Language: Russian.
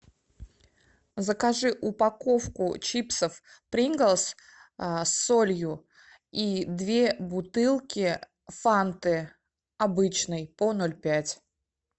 закажи упаковку чипсов принглс с солью и две бутылки фанты обычной по ноль пять